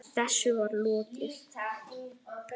Þessu var lokið.